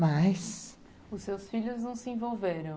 Mas... Os seus filhos não se envolveram.